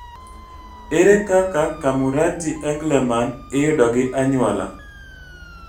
Ere kaka Camurati Engelmann iyudo ei anyuola